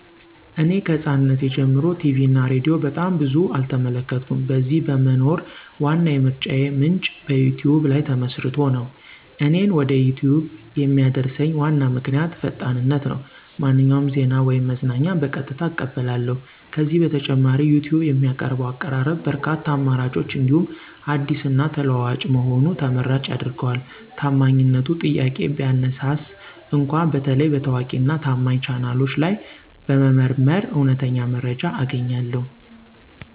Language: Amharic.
እኔ ከሕፃናትነቴ ጀምሮ ቲቪ እና ሬዲዮ በጣም ብዙ አልተመለከትኩም። በዚህ በመኖር ዋና የምርጫዬ ምንጭ በዩቲዩብ ላይ ተመስርቶ ነው። እኔን ወደ ዩቲዩብ የሚያደርሰኝ ዋና ምክንያት ፈጣንነት ነው፤ ማንኛውንም ዜና ወይም መዝናኛ በቀጥታ እቀበላለሁ። ከዚህ በተጨማሪ ዩቲዩብ የሚያቀርበው አቀራረብ በርካታ አማራጮች እንዲሁም አዲስ እና ተለዋዋጭ መሆኑ ተመራጭ ያደርገዋል። ታማኝነቱ ጥያቄ ቢያነሳስ እንኳ በተለይ በታዋቂ እና ታማኝ ቻናሎች ላይ በመመርመር እውነተኛ መረጃ አገኛለሁ።